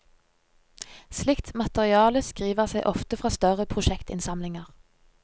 Slikt materiale skriver seg ofte fra støre prosjektinnsamlinger.